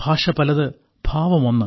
ഭാഷ പലത് ഭാവം ഒന്ന്